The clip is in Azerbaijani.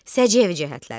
Səciyyəvi cəhətləri.